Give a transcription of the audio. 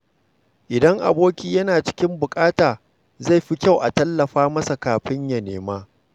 Idan aboki yana cikin buƙata, zai fi kyau a tallafa masa kafin ya nema.